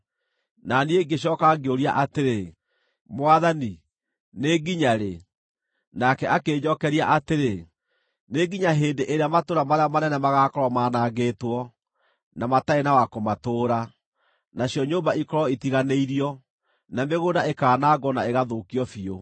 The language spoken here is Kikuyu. Na niĩ ngĩcooka ngĩũria atĩrĩ, “Mwathani, nĩ nginya rĩ?” Nake akĩnjookeria atĩrĩ: “Nĩ nginya hĩndĩ ĩrĩa matũũra marĩa manene magaakorwo maanangĩtwo na matarĩ na wa kũmatũũra, nacio nyũmba ikorwo ĩtiganĩirio, na mĩgũnda ĩkaanangwo na ĩgathũkio biũ,